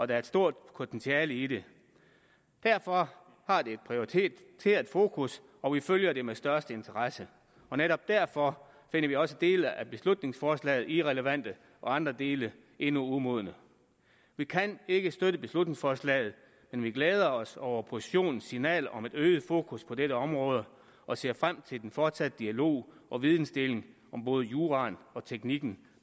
der er et stort potentiale i det derfor har det et prioriteret fokus og vi følger det med største interesse og netop derfor finder vi også dele af beslutningsforslaget irrelevante og andre dele endnu umodne vi kan ikke støtte beslutningsforslaget men vi glæder os over oppositionens signal om et øget fokus på dette område og ser frem til den fortsatte dialog og videndeling om både juraen og teknikken